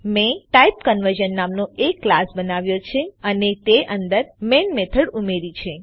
મેં ટાઇપકન્વર્ઝન નામનો એક ક્લાસ બનાવ્યો છે અને તે અંદર મેઈન મેથડ ઉમેર્યી છે